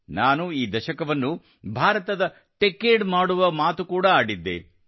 ನಾನು ಈ ದಶಕವನ್ನು ಭಾರತದ ಟೆಚಡೆ ಮಾಡುವ ಮಾತು ಕೂಡಾ ಆಡಿದ್ದೆ